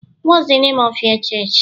what the name of your church?